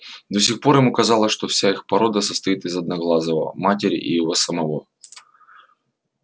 до сих пор ему казалось что вся их порода состоит из одноглазого матери и его самого